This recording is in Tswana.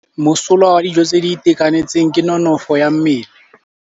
Mosola wa dijô tse di itekanetseng ke nonôfô ya mmele.